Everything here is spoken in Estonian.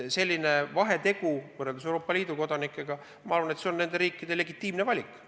Selline vahetegemine Euroopa Liidu ja kolmandate riikide kodanike vahel on minu arvates riikide legitiimne valik.